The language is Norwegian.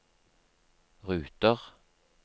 ruter